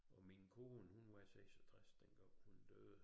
Og min kone hun var 66 dengang hun døde